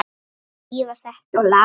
Þrífa þetta og laga hitt.